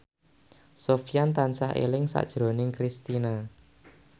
Sofyan tansah eling sakjroning Kristina